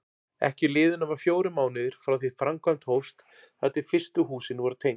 Ekki liðu nema fjórir mánuðir frá því framkvæmd hófst þar til fyrstu húsin voru tengd.